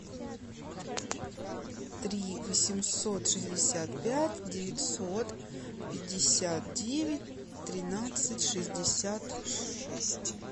три восемьсот шестьдесят пять девятьсот пятьдесят девять тринадцать шестьдесят шесть